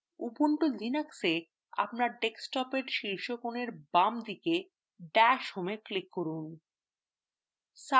ubuntu linuxএ আপনার desktopএ শীর্ষস্থানের বাম corner ড্যাশ home click করুন